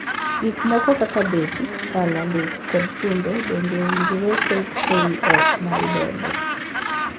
Gik moko kaka beti, pala, luth, kod chumbe bende owinjore ket ei ot ma idedo.